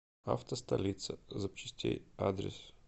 авто столица запчастей адрес